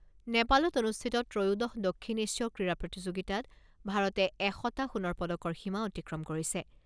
নেপালত অনুষ্ঠিত ত্ৰয়োদশ দক্ষিণ এছীয় ক্ৰীড়া প্ৰতিযোগিতাত ভাৰতে এশটা সোণৰ পদকৰ সীমা অতিক্ৰম কৰিছে।